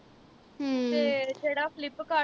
ਤੇ ਜਿਹੜਾ flipkart